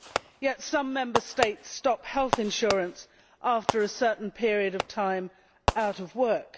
Yet some Member States stop health insurance after a certain period of time out of work.